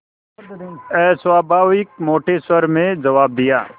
अस्वाभाविक मोटे स्वर में जवाब दिया